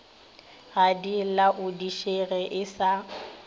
ga di laodišege e sa